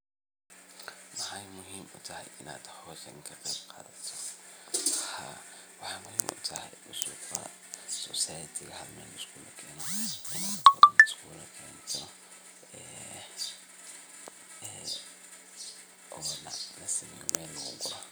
Maxee muhiim utahay in aad howshan ka qeb qadato, waxaa muhiim utahay suqa wax sosaridisa oo hal meel laisugu kene ee ona meel lagu guro.